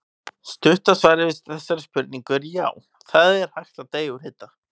Stutta svarið við þessari spurningu er já, það er hægt að deyja úr hita.